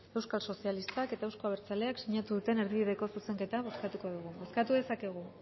euskal sozialistak eta euzko abertzaleak sinatu duten erdi bideko zuzenketa bozkatuko dugu bozkatu dezakegu